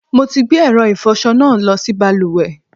Mo ti gbé ẹ̀rọ ìfọṣọ náà lọ sí balùwẹ̀.